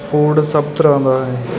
Food ਸਭ ਤਰ੍ਹਾਂ ਦਾ ਹੈ।